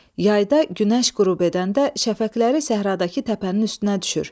Yayda günəş qürub edəndə şəfəqləri səhradakı təpənin üstünə düşür.